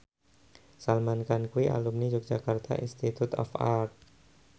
Salman Khan kuwi alumni Yogyakarta Institute of Art